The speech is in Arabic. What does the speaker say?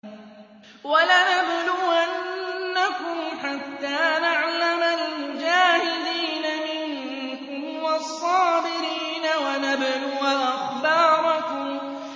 وَلَنَبْلُوَنَّكُمْ حَتَّىٰ نَعْلَمَ الْمُجَاهِدِينَ مِنكُمْ وَالصَّابِرِينَ وَنَبْلُوَ أَخْبَارَكُمْ